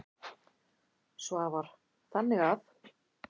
Svavar: Þannig að.